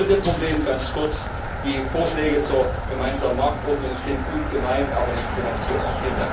Und das dritte Problem ganz kurz Die Vorschläge zur Gemeinsamen Marktordnung sind gut gemeint, aber nicht finanzierbar.